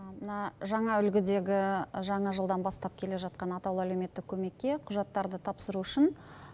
мына жаңа үлгідегі жаңа жылдан бастап келе жатқан атаулы әлеуметтік көмекке құжаттарды тапсыру үшін